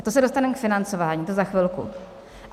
A to se dostaneme k financování, to za chvilku.